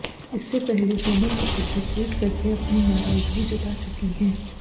इससे पहले सोनम कपूर भी ट्वीट करके अपनी नाराजगी जता चुकी हैं